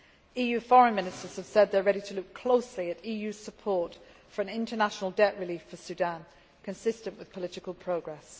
EU Foreign Ministers have said they are ready to look closely at EU support for international debt relief for Sudan, consistent with political progress.